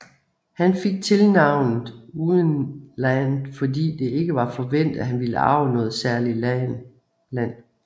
Han fik tilnavnet uden Land fordi det ikke var forventet at han ville arve noget særligt land